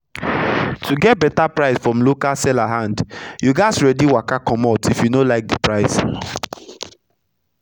to get beta price from local seller hand you gats ready waka comot if you no like d price